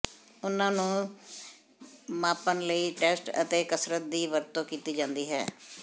ਉਨ੍ਹਾਂ ਨੂੰ ਮਾਪਣ ਲਈ ਟੈਸਟ ਅਤੇ ਕਸਰਤ ਦੀ ਵਰਤੋਂ ਕੀਤੀ ਜਾਂਦੀ ਹੈ